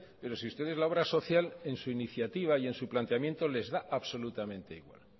pero si ustedes la obra social en su iniciativa y en su planteamiento les da absolutamente igual